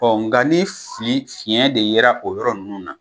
Ɔn nga ni fili fiɲɛ de yera o yɔrɔ nunnu na